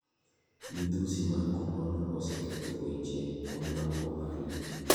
Midhusi mar kororna oseketho weche wa mag ohala.